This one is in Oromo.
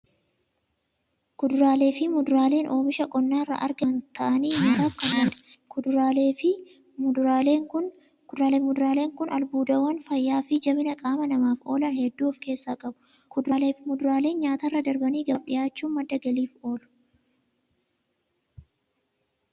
Kuduraaleefi muduraaleen oomisha qonnarraa argaman ta'anii nyaataaf kan oolaniidha. Kuduraaleefi muduraaleen albuudawwan fayyaafi jabina qama namaaf oolan hedduu of keessaa qabu. Kuduraaleefi muduraaleen nyaatarra darbanii gabaaf dhiyaachuun madda galiif oolu.